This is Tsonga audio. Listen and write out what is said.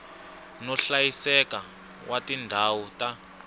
no hlayiseka wa tindhawu ta